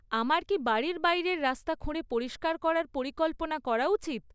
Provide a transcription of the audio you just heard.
আমার কি বাড়ির বাইরের রাস্তা খুঁড়ে পরিস্কার করার পরিকল্পনা করা উচিৎ?